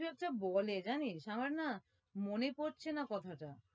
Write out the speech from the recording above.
কি একটা বলে জানিস আমার না মনে পড়ছে না কথা টা